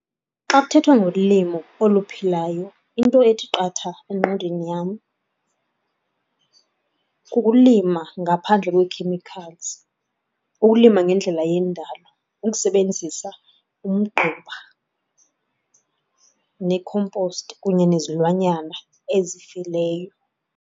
Xa kuthethwa ngolimo oluphilayo into ethi qatha engqondweni yam kukulima ngaphandle kwee-chemicals, ukulima ngendlela yendalo, ukusebenzisa umgquba nekhomposti kunye nezilwanyana ezifileyo.